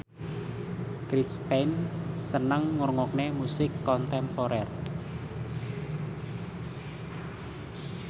Chris Pane seneng ngrungokne musik kontemporer